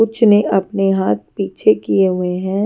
कुछ ने अपने हाथ पीछे किए हुए हैं।